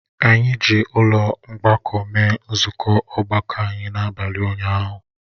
Anyị ji ụlọ mgbakọ mee nzukọ ọgbakọ anyị n'abalị ụnyahụ